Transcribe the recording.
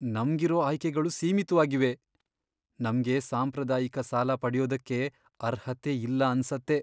ನಮ್ಗಿರೋ ಆಯ್ಕೆಗಳು ಸೀಮಿತ್ವಾಗಿವೆ! ನಮ್ಗೆ ಸಾಂಪ್ರದಾಯಿಕ ಸಾಲ ಪಡ್ಯೋದಕ್ಕೆ ಅರ್ಹತೆ ಇಲ್ಲ ಅನ್ಸತ್ತೆ.